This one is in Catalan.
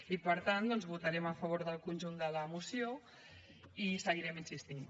i per tant doncs votarem a favor del conjunt de la moció i hi seguirem insistint